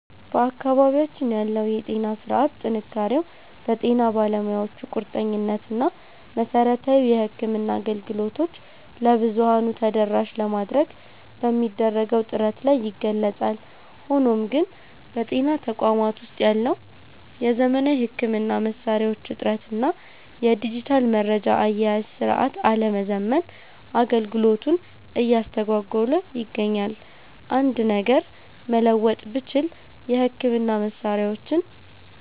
በአካባቢያችን ያለው የጤና ሥርዓት ጥንካሬው በጤና ባለሙያዎቹ ቁርጠኝነት እና መሠረታዊ የሕክምና አገልግሎቶችን ለብዙኃኑ ተደራሽ ለማድረግ በሚደረገው ጥረት ላይ ይገለጻል። ሆኖም ግን፣ በጤና ተቋማት ውስጥ ያለው የዘመናዊ ሕክምና መሣሪያዎች እጥረት እና የዲጂታል መረጃ አያያዝ ሥርዓት አለመዘመን አገልግሎቱን እያስተጓጎለ ይገኛል። አንድ ነገር መለወጥ ብችል፣ የሕክምና መሣሪያዎችን